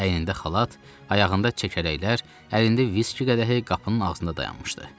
Əyində xalat, ayağında çəkələklər, əlində viski qədəhi qapının ağzında dayanmışdı.